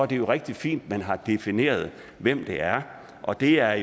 det rigtig fint man har defineret hvem det er og det er